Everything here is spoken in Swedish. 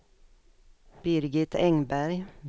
Birgit Engberg